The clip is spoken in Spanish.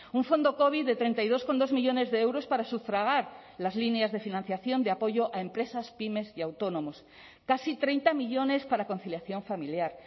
un fondo covid de treinta y dos coma dos millónes de euros para sufragar las líneas de financiación de apoyo a empresas pymes y autónomos casi treinta millónes para conciliación familiar